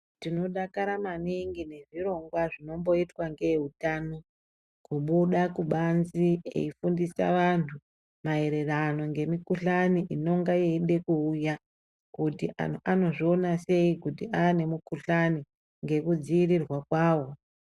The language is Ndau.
Tinodakara maningi ngezvirongwa zvinomboitwa nevehutano kubuda kubanze eifundisa vantu maererano ngemikuhlani inonga yeida kuuya kuti anhu anozviona sei kuti ane mikuhlani ngekudzivirirwa kwawo.